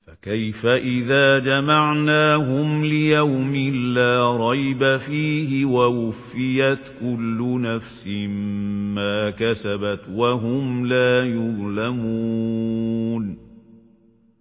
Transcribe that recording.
فَكَيْفَ إِذَا جَمَعْنَاهُمْ لِيَوْمٍ لَّا رَيْبَ فِيهِ وَوُفِّيَتْ كُلُّ نَفْسٍ مَّا كَسَبَتْ وَهُمْ لَا يُظْلَمُونَ